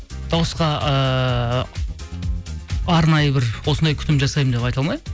дауысқа ыыы арнайы бір осындай күтім жасаймын деп айта алмаймын